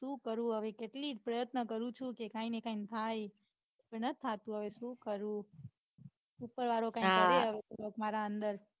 સુ કરું હવે કેટલીક પ્રયત્ન કરું છું કે કાઇંક ને કાઇંક થાય. પણ નથ થતું હવે સુ કરું ઉપરવાળો કઈંક કરે હવે મારા અંદર.